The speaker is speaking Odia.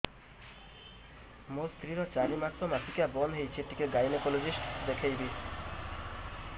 ମୋ ସ୍ତ୍ରୀ ର ଚାରି ମାସ ମାସିକିଆ ବନ୍ଦ ହେଇଛି ଟିକେ ଗାଇନେକୋଲୋଜିଷ୍ଟ ଦେଖେଇବି